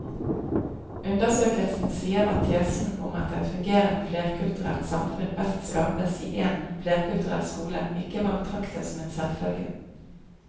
Undersøkelsen sier at tesen om at et fungerende flerkulturelt samfunn best skapes i én flerkulturell skole ikke må betraktes som en selvfølge.